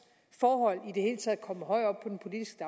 forhold i det hele taget kommer højere